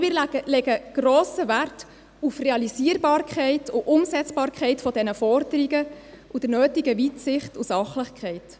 Wir legen grossen Wert auf Realisierbarkeit und Umsetzbarkeit dieser Forderungen sowie auf die nötige Weitsicht und Sachlichkeit.